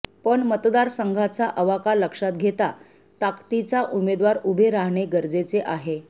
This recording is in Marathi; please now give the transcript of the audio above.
पण मतदारसंघाचा अवाका लक्षात घेता ताकतीचा उमेदवार उभे राहणे गरजेचे आहे